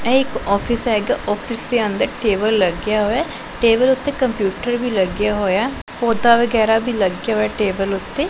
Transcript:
ਇਹ ਇੱਕ ਆਫਿਸ ਹੈਗਾ ਆਫਿਸ ਦੇ ਅੰਦਰ ਟੇਬਲ ਲੱਗਿਆ ਹੋਇਆ ਟੇਬਲ ਉਤੇ ਕੰਪਿਊਟਰ ਵੀ ਲੱਗਿਆ ਹੋਇਆ ਪੌਧਾ ਵਗੈਰਾ ਵੀ ਲੱਗੇ ਹੋਏ ਟੇਬਲ ਉੱਤੇ।